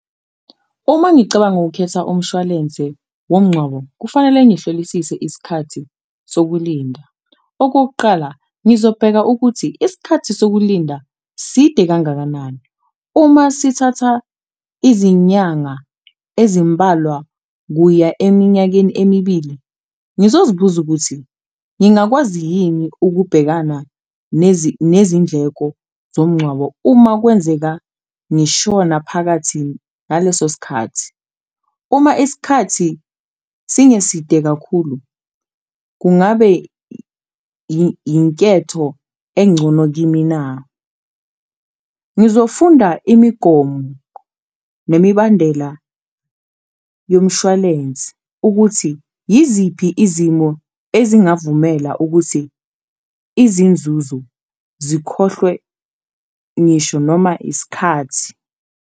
Uma ngicabanga ukhetha umshwalense womngcwabo kufanele ngihlolisise isikhathi sokulinda, okokuqala ngizobheka ukuthi isikhathi sokulinda side kangakanani, uma sithatha izinyanga ezimbalwa kuya eminyakeni emibili. Ngizozibuza ukuthi, ngingakwazi yini ukubhekana nezindleko zomngcwabo uma kwenzeka ngishona phakathini naleso sikhathi? Uma isikhathi singeside kakhulu, kungabe inketho engcono kimi na? Ngizofunda imigomo nemibandela yomshwalensi ukuthi yiziphi izimo ezingavumela ukuthi izinzuzo zikhohlwe ngisho noma iskhathi.